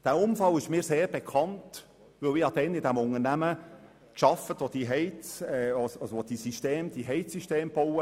» Dieser Unfall ist mir sehr gut bekannt, weil ich damals in jenem Unternehmen tätig war, welches die Heizungssysteme baute.